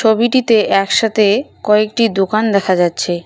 ছবিটিতে একসাথে কয়েকটি দোকান দেখা যাচ্ছে।